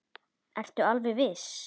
Linda: Ertu alveg viss?